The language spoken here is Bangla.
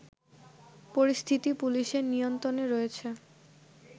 পরিস্থিতি পুলিশের নিয়ন্ত্রণে রয়েছে